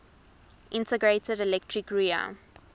integrated electric rear